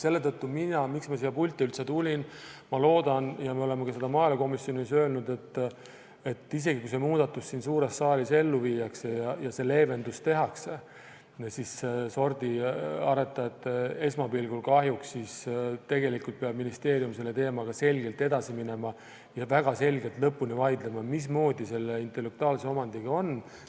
Selle tõttu mina, kes ma siia pulti sellepärast üldse tulin, loodan – ja me oleme ka seda maaelukomisjonis öelnud –, et isegi kui see muudatus siin suures saalis ellu viiakse ja see leevendus tehakse, esmapilgul sordiaretajate kahjuks, siis tegelikult peab ministeerium selle teemaga selgelt edasi minema ja väga selgelt lõpuni vaidlema, mismoodi selle intellektuaalse omandiga on.